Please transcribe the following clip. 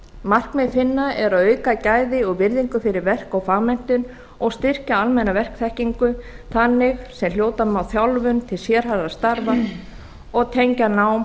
markmið hinna er að auka gæði og virðingu fyrir verk og fagmenntun og styrkja almenna verkþekkingu þannig sem hljóta má þjálfun til sérhæfðra starfa og tengja nám